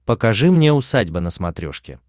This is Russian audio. покажи мне усадьба на смотрешке